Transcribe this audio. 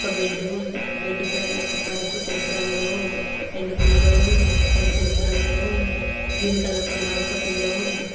ఒక బెడ్డు ఉంది బెడ్డు పైన ఒక పరుపు తెలుపు రంగులో ఉంది రెండు పిల్లోలు ఉన్నాయి అవి తెలుపు రంగులో ఉన్నాయి గ్రీన్ కలర్ లో మరొక పిల్లో ఉంది.